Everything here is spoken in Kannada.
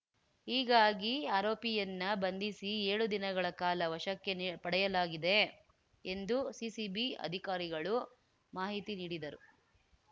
ಹೀಗಾಗಿ ಆರೋಪಿಯನ್ನ ಬಂಧಿಸಿ ಏಳು ದಿನಗಳ ಕಾಲ ವಶಕ್ಕೆ ನಿ ಪಡೆಯಲಾಗಿದೆ ಎಂದು ಸಿಸಿಬಿ ಅಧಿಕಾರಿಗಳು ಮಾಹಿತಿ ನೀಡಿದರು